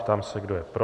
Ptám se, kdo je pro.